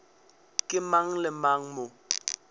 ke mang le mang mo